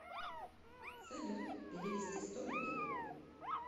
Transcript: салют перевести сто рублей